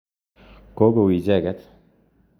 Kokou icheket